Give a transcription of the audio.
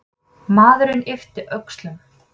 Maðurinn yppti öxlum.